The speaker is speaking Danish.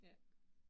Ja